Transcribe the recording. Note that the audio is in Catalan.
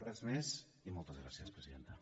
res més i moltes gràcies presidenta